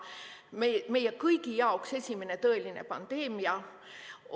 See oli meie kõigi jaoks esimene tõeline pandeemia.